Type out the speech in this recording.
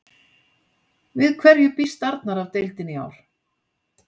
Við hverju býst Arnar af deildinni í ár?